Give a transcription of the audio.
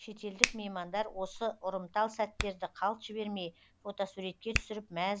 шетелдік меймандар осы ұрымтал сәттерді қалт жібермей фотосуретке түсіріп мәз